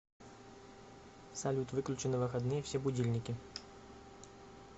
салют выключи на выходные все будильники